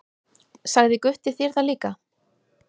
Sagði Gutti þér það líka?